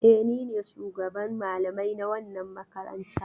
E, ni ne shugaban malamai na wannan makaranta.